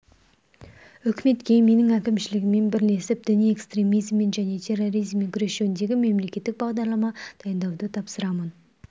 үкіметке менің әкімшілігіммен бірлесіп діни экстремизммен және терроризммен күрес жөніндегі мемлекеттік бағдарлама дайындауды тапсырамын